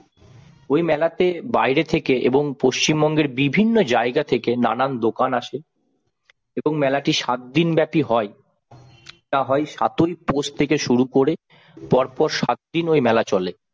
ওই মেলাতে বাইরে থেকে এবং পশ্চিমবঙ্গের বিভিন্ন জায়গা থেকে নানান দোকান আসে এবং মেলাটি সাত দিনব্যাপী হয়। তা হয় সাত পৌষ থেকে শুরু করে পরপর সাত দিন ওই মেলা চলে।